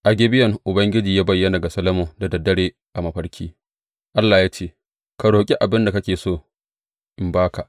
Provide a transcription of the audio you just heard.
A Gibeyon, Ubangiji ya bayyana ga Solomon da dare a mafarki, Allah ya ce, Ka roƙi abin da kake so in ba ka.